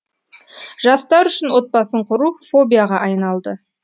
жастар үшін отбасын құру фобияға айналды